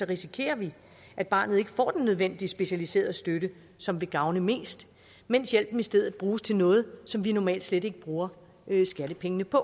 risikerer vi at barnet ikke får den nødvendige specialiserede støtte som vil gavne mest mens hjælpen i stedet bruges til noget som vi normalt slet ikke bruger skattepengene på